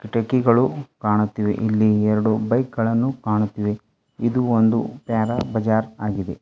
ಕಿಟಕಿಗಳು ಕಾಣುತ್ತಿವೆ ಇಲ್ಲಿ ಎರಡು ಬೈಕ್ ಗಳನ್ನು ಕಾಣುತ್ತಿವೆ ಇದು ಒಂದು ಪ್ಯಾರಾ ಬಜಾರ್ ಆಗಿದೆ.